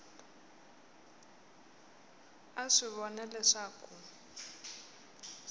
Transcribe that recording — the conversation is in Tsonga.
a a swi vona leswaku